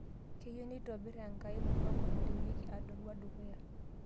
Keyieu nitobiri enkai mupango narewieki Arua dukuya